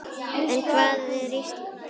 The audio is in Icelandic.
En hvað er Ísland?